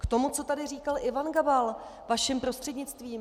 K tomu, co tady říkal Ivan Gabal, vašim prostřednictvím.